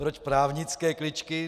Proč právnické kličky?